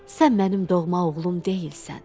Sən mənim doğma oğlum deyilsən.